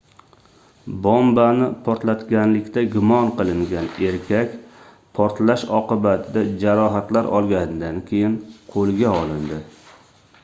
bombani portlatganlikda gumon qilingan erkak portlash oqibatida jarohatlar olganidan keyin qoʻlga olindi